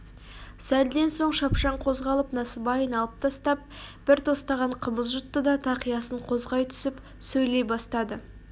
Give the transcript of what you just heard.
сәлден соң шапшаң қозғалып насыбайын алып тастап бір тостаған қымыз жұтты да тақиясын қозғай түсіп сөйлей бастады